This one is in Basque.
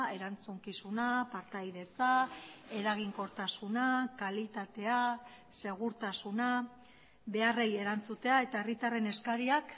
erantzukizuna partaidetza eraginkortasuna kalitatea segurtasuna beharrei erantzutea eta herritarren eskariak